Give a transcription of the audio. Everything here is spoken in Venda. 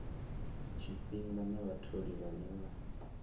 tshifhinga na vhatholi vhane vha